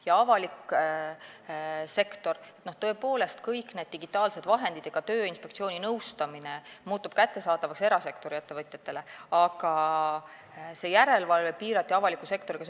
Ja avalik sektor, tõepoolest, kõik need digitaalsed vahendid ja Tööinspektsiooni nõustamine muutub kättesaadavaks ka erasektori ettevõtjatele, aga järelevalve piirati avaliku sektoriga.